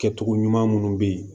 Kɛcogo ɲuman minnu bɛ yen